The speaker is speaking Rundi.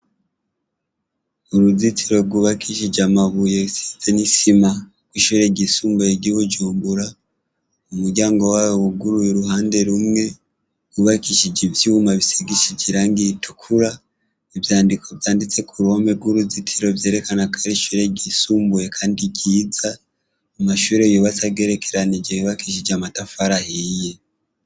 Uruzitiro rwubakishije amabuye, rusize n'isima rw'ishure ryisumbuye ry'i Bujumbura, umuryango wayo wuguruye uruhande rumwe; wubakishije ivyuma bisigishije irangi ritukura; ivyandiko vyanditse ku ruhome rw'uruzitiro vyerekana ko ari ishure ryisumbuye kandi ryiza, amashure yubatse agerekeranije, yubakishije amatafari ahiye.